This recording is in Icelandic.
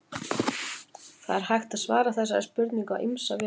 það er hægt að svara þessari spurningu á ýmsa vegu